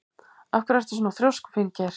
Af hverju ertu svona þrjóskur, Finngeir?